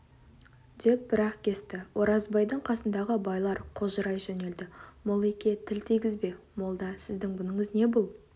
деп бір-ақ кесті оразбайдың қасындағы байлар қожырай жөнелді моллеке тіл тигізбе молда сіздің бұныңыз не бұл